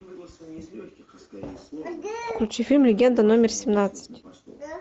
включи фильм легенда номер семнадцать